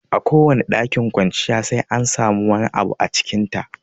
Kowane ɗakin kwanciya sai an samu wani abu a cikin ta